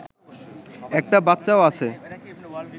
একটা বাচ্চাও আছে